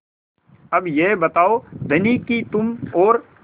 अब यह बताओ धनी कि तुम और